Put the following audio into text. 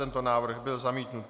Tento návrh byl zamítnut.